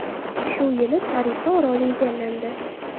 Shu yili Tarifa oroli egallandi.